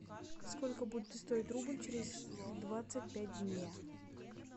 сколько будет стоить рубль через двадцать пять дня